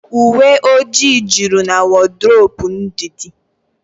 Uwe ọjị jụrụ na wodrobu Ndidi